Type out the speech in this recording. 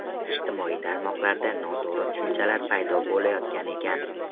Ijtimoiy tarmoqlarda noto‘g‘ri tushunchalar paydo bo‘layotgan ekan.